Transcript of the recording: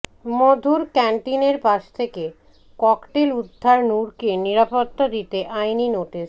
মধুর ক্যান্টিনের পাশ থেকে ককটেল উদ্ধার নুরকে নিরাপত্তা দিতে আইনি নোটিশ